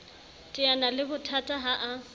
teana le bothata ha a